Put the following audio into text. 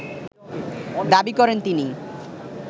দাবি করেন তিনি